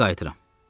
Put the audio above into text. İndi qayıdıram.